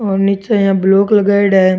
और नीचे इया ब्लॉक लगाइड़ा है।